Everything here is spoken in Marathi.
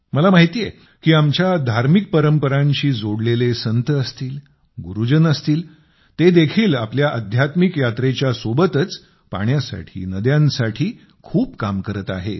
मला माहिती आहे की आमच्या धार्मिक परंपरांशी जोडलेले संत असतील गुरुजन असतील ते देखील आपल्या अध्यात्मिक यात्रेच्या सोबतच पाण्यासाठी नद्यांसाठी खूप काम करत आहेत